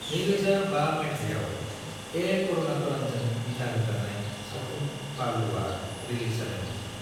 2005 मायथाइयाव, ए. करुणाकरनजों दिथाहोजानाय सावथुन बालुआ रिलीज जादोंमोन।